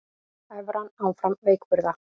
Evran áfram veikburða